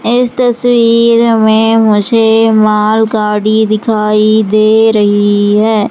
इस तस्वीर में मुझे मालगाड़ी दिखाई दे रही है।